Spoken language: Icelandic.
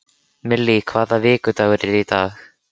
Millý, hvaða vikudagur er í dag?